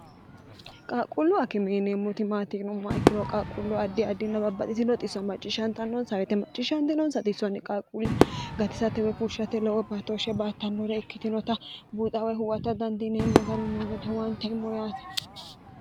qaaqquullu akime yineemmoti maati yinummoha ikkiro qaaqquullu addi adinna babbaxiti xisso macciishantannonsa woyite macciishshantinonsa xisonni qaaquulle gatisate woy fushshate looso batoshshe baattannore ikkitinota buuxawoyi huwata dandiineemmo gari noo gede huwaanteemmo yaate